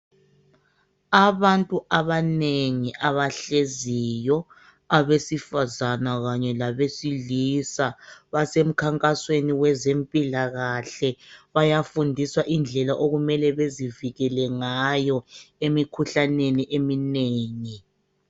Abantu abanengi abahleziyo, abesifazana kanye labesilisa. Basemkhankasweni wezempilakahle ,bayafundiswa indlela okumele bezivikele ngayo emikhuhlaneni eminengi.